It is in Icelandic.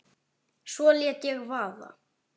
Svo lét ég vaða.